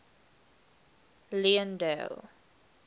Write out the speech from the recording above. leondale